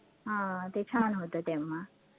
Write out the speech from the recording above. हा ते छान होतं तेव्हा